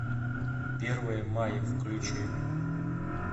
первое мая включи